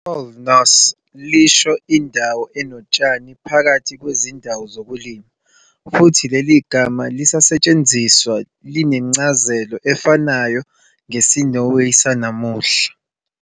Ku-Old Norse lisho indawo enotshani phakathi kwezindawo zokulima, futhi leli gama lisasetshenziswa linencazelo efanayo ngesiNorway sanamuhla.